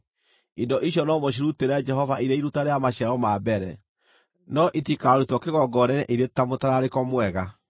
Indo icio no mũcirutĩre Jehova irĩ iruta rĩa maciaro ma mbere, no itikarutwo kĩgongona-inĩ irĩ ta mũtararĩko mwega.